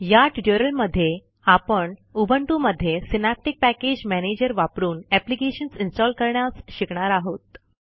या ट्युटोरियलमधे आपण उबंटू मध्ये सिनॅप्टिक पॅकेज मॅनेजर वापरून एप्लिकेशन्स इन्स्टॉल करण्यास शिकणार आहोत